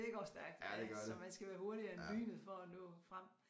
Det går stærkt ja så man skal være hurtigere end lynet for at nå frem